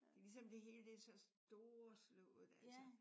Det er ligesom det hele det er så storslået altså